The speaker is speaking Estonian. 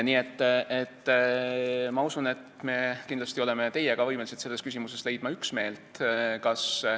Nii et ma usun, et me oleme teiega võimelised selles küsimuses üksmeelt leidma.